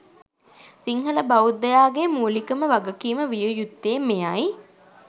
සිංහල බෞද්දයාගේ මූලිකම වගකීම විය යුත්තේ මෙයයි